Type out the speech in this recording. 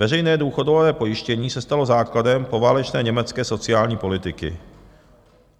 Veřejné důchodové pojištění se stalo základem poválečné německé sociální politiky.